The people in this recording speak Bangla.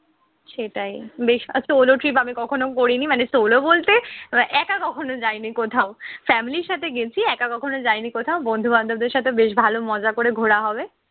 সেটাই, বেশ আচ্ছা কিভাবে কখনো করিনি মানে solo বলতে মানে একা কখনো যায়নি কোথাও। family র সাথে গেছি একা কখনো যাইনি কোথাও। বন্ধু-বান্ধবদের সাথে বেশ ভালো মজা করে ঘোরা হবে।